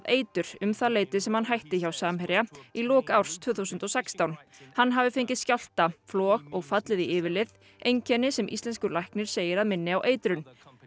eitur um það leyti sem hann hætti hjá Samherja í lok árs tvö þúsund og sextán hann hafi fengið skjálfta flog og fallið í yfirlið einkenni sem íslenskur læknir segir að minni á eitrun